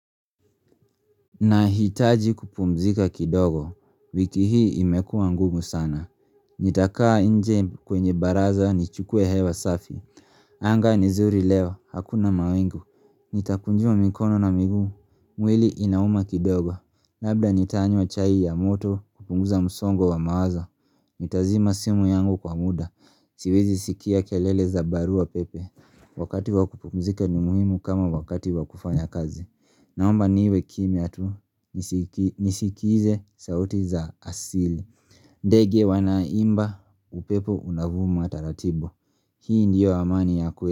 Nahitaji kupumzika kidogo, wiki hii imekuwa ngumu sana Nitakaa nje kwenye baraza nichukuwe hewa safi anga ni zuri leo, hakuna mawingu Nitakunjua mikono na miguu, mwili inauma kidogo. Labda nitanywa chai ya moto kupunguza msongo wa mawazo Nitazima simu yangu kwa muda, siwezi sikia kialele za barua pepe. Wakati wa kupumzika ni muhimu kama wakati wa kufanya kazi Naomba niwe kimya tu nisikize sauti za asili ndege wanaimba, upepo unavuma taratibu Hii ndiyo amani ya kwe.